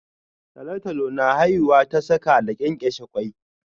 Talotalo na haihuwa ta saka da kenkeshe ƙwoi